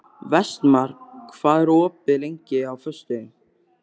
Vestmar, hvað er opið lengi á föstudaginn?